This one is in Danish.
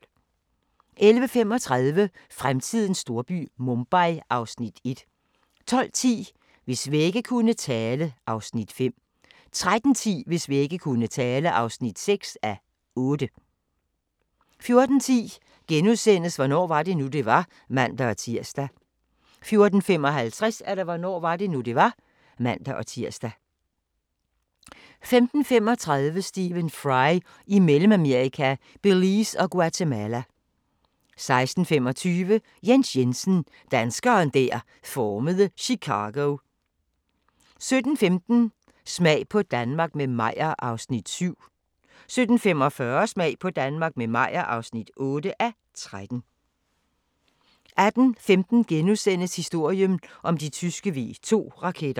11:35: Fremtidens storby – Mumbai (Afs. 1) 12:10: Hvis vægge kunne tale (Afs. 5) 13:10: Hvis vægge kunne tale (6:8) 14:10: Hvornår var det nu, det var? *(man-tir) 14:55: Hvornår var det nu, det var? (man-tir) 15:35: Stephen Fry i Mellemamerika – Belize og Guatemala 16:25: Jens Jensen - danskeren der formede Chicago 17:15: Smag på Danmark – med Meyer (7:13) 17:45: Smag på Danmark – med Meyer (8:13) 18:15: Historien om de tyske V2-raketter *